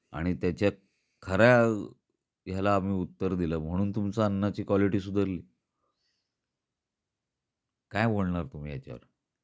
झाल इतकी वर्षे आम्ही ते अन्न खाल्ल आणि त्याचा खरा त्याला आम्ही उत्तर दिल, म्हणून तुमचा अन्नाची क्वालिटी सुधरली. काय बोलणार तुम्ही ह्याच्यावर?